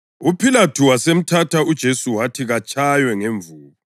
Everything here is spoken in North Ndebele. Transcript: UPhilathu wasemthatha uJesu wathi katshaywe ngemvubu.